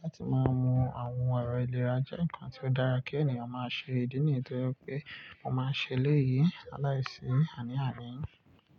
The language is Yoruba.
Láti máa mu àwọn ẹ̀rọ ìlera jẹ́ nǹkan tí ó dára kí ènìyàn máa ṣe. Ídí nìyen tó jẹ́ pé mo máa ń ṣe eléyìí laláìsí àní àní.